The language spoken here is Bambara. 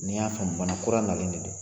Ni y'a faamu malokura nalen de don